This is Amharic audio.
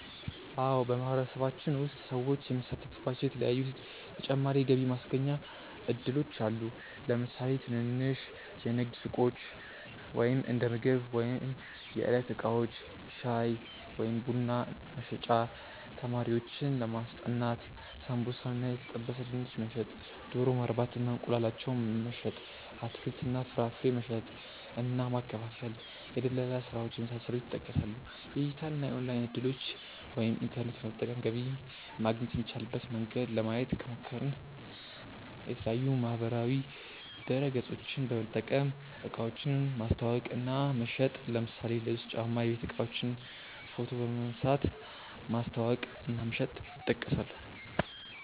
አዎ በማህበረሰባችን ውስጥ ሰዎች የሚሳተፉባቸዉ የተለያዪ ተጨማሪ የገቢ ማስገኛ እድሎች አሉ። ለምሳሌ ትንንሽ የንግድ ሱቆች(እንደምግብ ወይም የዕለት እቃዎች) ፣ ሻይ ወይም ቡና መሸጥ፣ ተማሪዎችን ማስጠናት፣ ሳምቡሳ እና የተጠበሰ ድንች መሸጥ፣ ዶሮ ማርባት እና እንቁላላቸውን መሸጥ፣ አትክልት እና ፍራፍሬ መሸጥ እና ማከፋፈል፣ የድለላ ስራዎች የመሳሰሉት ይጠቀሳሉ። የዲጂታል እና ኦንላይን እድሎችን( ኢንተርኔት በመጠቀም ገቢ ማግኘት የሚቻልበት መንገድ) ለማየት ከሞከርን፦ የተለያዪ ማህበራዊ ድረገፆችን በመጠቀም እቃዎችን ማስተዋወቅ እና መሸጥ ለምሳሌ ልብስ፣ ጫማ፣ የቤት እቃዎችን ፎቶ በመንሳት ማስተዋወቅ እና መሸጥ ይጠቀሳሉ።